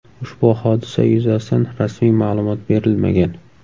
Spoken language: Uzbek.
Ushbu hodisa yuzasidan rasmiy ma’lumot berilmagan.